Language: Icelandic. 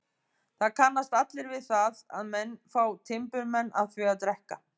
Það kannast allir við það að menn fá timburmenn af því að drekka.